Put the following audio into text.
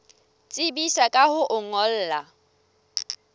tsebisa ka ho o ngolla